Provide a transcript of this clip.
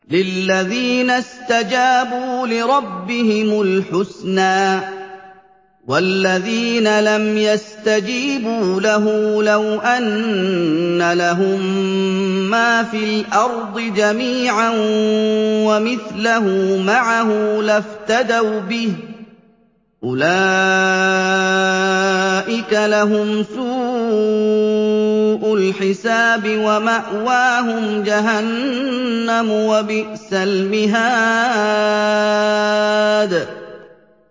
لِلَّذِينَ اسْتَجَابُوا لِرَبِّهِمُ الْحُسْنَىٰ ۚ وَالَّذِينَ لَمْ يَسْتَجِيبُوا لَهُ لَوْ أَنَّ لَهُم مَّا فِي الْأَرْضِ جَمِيعًا وَمِثْلَهُ مَعَهُ لَافْتَدَوْا بِهِ ۚ أُولَٰئِكَ لَهُمْ سُوءُ الْحِسَابِ وَمَأْوَاهُمْ جَهَنَّمُ ۖ وَبِئْسَ الْمِهَادُ